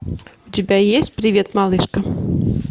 у тебя есть привет малышка